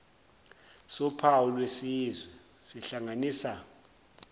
sophawu lwesizwe sihlanganisa